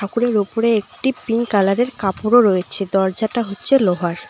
ঠাকুরের ওপরে একটি পিঙ্ক কালারের কাপড়ও রয়েছে দরজাটা হচ্ছে লোহার।